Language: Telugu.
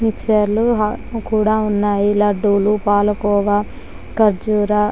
మిక్ససర్లు కూడా ఉన్నాయి. లడ్లు పాలకోవా ఖజురా --